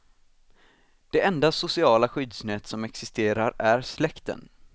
Det enda sociala skyddsnät som existerar är släkten.